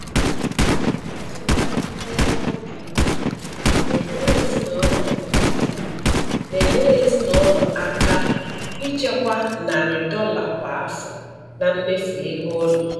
Ịzụta nri n'ebe ọ dị ukwuu na-enyere ezinụlọ ukwuu na-enyere ezinụlọ aka ichekwa narị dolla kwa afọ na mmefu ego ụlọ.